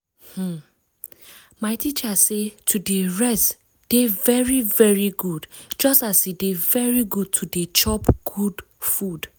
hmm my teacher say to dey rest dey very very good just as e dey very good to dey chop good food